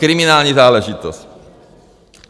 Kriminální záležitost.